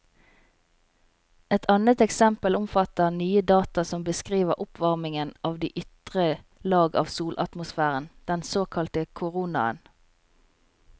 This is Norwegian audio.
Et annet eksempel omfatter nye data som beskriver oppvarmingen av de ytre lag av solatmosfæren, den såkalte koronaen.